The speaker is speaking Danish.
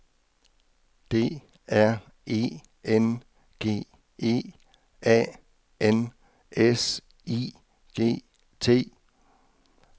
D R E N G E A N S I G T